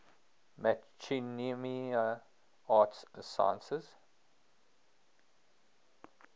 machinima arts sciences